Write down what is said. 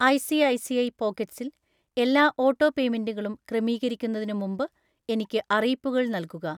ഐ.സി.ഐ.സി.ഐ പോക്കറ്റ്‌സ്സിൽ എല്ലാ ഓട്ടോപേയ്മെന്റുകളും ക്രമീകരിക്കുന്നതിന് മുമ്പ് എനിക്ക് അറിയിപ്പുകൾ നൽകുക.